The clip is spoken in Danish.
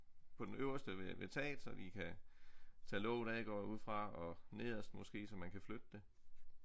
På den øverste ved taget så vi kan tage låget af går jeg ud fra og nederst måske så man kan flytte det